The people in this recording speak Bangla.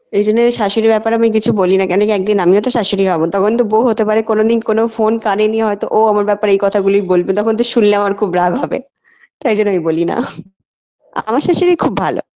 এই জন্য শাশুড়ির ব্যাপারে আমি কিছু বলি না কেনকি একদিন আমিও তো শাশুড়ি হবো তখন তো বউ হতে পারে কোনোদিন কোনো phone কানে নিয়ে হয়তো ও আমার ব্যাপারে এই কথাগুলি বলবে তখন তো শুনলে আমার খুব রাগ হবে তাই জন্য আমি বলি না আমার শাশুড়ি খুব ভালো